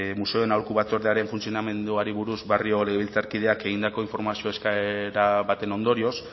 museoen aholku batzordearen funtzionamenduari buruz barrio legebiltzarkideak egindako informazio eskaera baten ondorioz